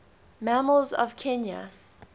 mammals of kenya